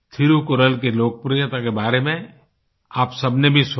थिरुकुरल की लोकप्रियता के बारे आप सबने भी सुना